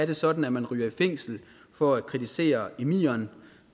det sådan at man ryger i fængsel for at kritisere emiren